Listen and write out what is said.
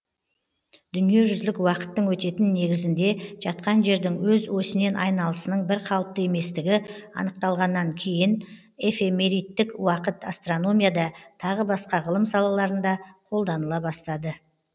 дүниежүзілік уақыттың өтетін негізінде жатқан жердің өз осінен айналысының бірқалыпты еместігі анықталғаннан кейін эфемеридтік уақыт астрономияда тағы басқа ғылым салаларында қолданыла бастады